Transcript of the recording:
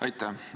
Aitäh!